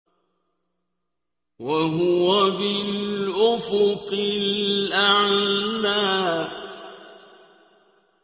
وَهُوَ بِالْأُفُقِ الْأَعْلَىٰ